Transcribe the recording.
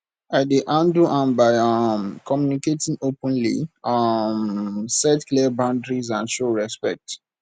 i dey handle am by um communicating openly um set clear boundaries and show respect